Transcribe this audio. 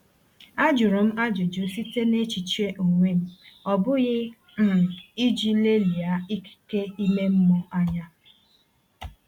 A jụrụ m ajụjụ site n’echiche onwe m, ọ bụghị um iji lelia ikike ime mmụọ anya.